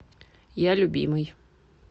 я любимый